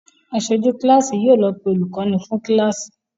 Aṣojú kíláàsì yóò lọ pé olùkọ́ní fún kíláàsì.